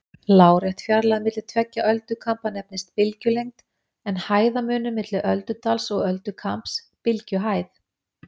Lárétt fjarlægð milli tveggja öldukamba nefnist bylgjulengd, en hæðarmunur milli öldudals og öldukambs bylgjuhæð.